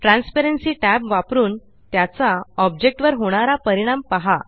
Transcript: transparency tab वापरून त्याचा object वर होणारा परिणाम पहा